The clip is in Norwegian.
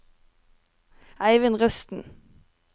Eivind Rusten